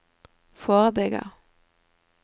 forebygger